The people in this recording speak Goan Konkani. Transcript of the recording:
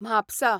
म्हापसा